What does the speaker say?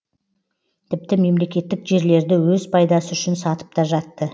тіпті мемлекеттік жерлерді өз пайдасы үшін сатып та жатты